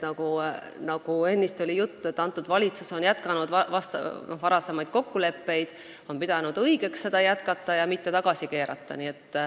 Nagu ennist juttu oli, see valitsus on jätkanud varasemaid kokkuleppeid, ta on pidanud õigeks neid jätkata ja mitte tagasi keerata.